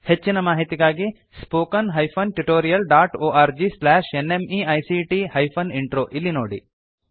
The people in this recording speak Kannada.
ಹೆಚ್ಚಿನ ಮಾಹಿತಿಗಾಗಿ spoken hyphen tutorial dot org slash NMEICT hyphen intro ಇಲ್ಲಿ ನೋಡಿ